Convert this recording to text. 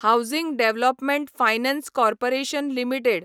housing development finance corporation limited